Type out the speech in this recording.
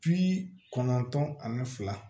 Bi kɔnɔntɔn ani fila